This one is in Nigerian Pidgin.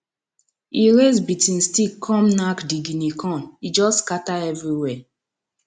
he raise beating stick come knack di guinea corn e just scatter everywhere